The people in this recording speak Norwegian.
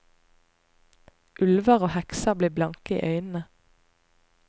Ulver og hekser blir blanke i øynene.